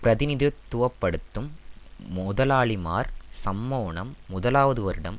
பிரதிநிதித்துவ படுத்தும் முதலாளிமார் சம்மோனம் முதலாவது வருடம்